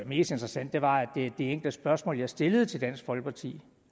mest interessant var at det enkle spørgsmål jeg stillede til dansk folkeparti